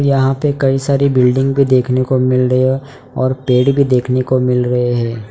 यहां पे कई सारी बिल्डिंग भी देखने को मिल रही और पेड़ भी देखने को मिल रहे है।